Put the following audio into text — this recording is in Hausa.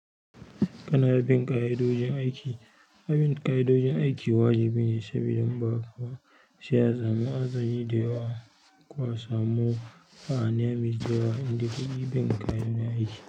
Kana bin ƙa'idojin aiki. Abin ƙa'idojin aiki wajibi ne sabida in ba haka ba sai a samu hatsari da yawa koba samu mu fahimci duba inda ka yi bin ƙa'idodi aiki.